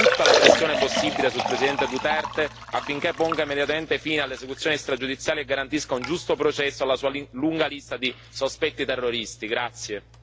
Ritengo pertanto necessario da parte nostra esercitare tutta la pressione possibile sul presidente Duterte affinché ponga immediatamente fine alle esecuzioni extragiudiziali e garantisca un giusto processo alla sua lunga lista di sospetti terroristi.